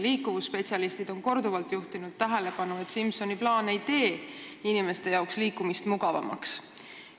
Liikuvusspetsialistid on korduvalt juhtinud tähelepanu, et Simsoni plaan ei tee inimeste liikumist mugavamaks.